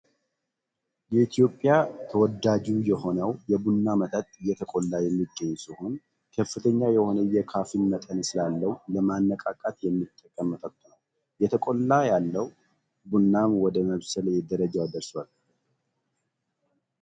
የኢትዮጵያ ተወዳጁ የሆነው የቡና መጠጥ እየጠቆላ የሚገኝ ሲሆን ከፍተኛ የሆነ የካፊን መጠን ስላለው ለማነቃቃት የሚጠቅም መጠጥ ነው። የተቆላ ያለው ቡናም ወደ መብሰል ደረጃው ደርሷል።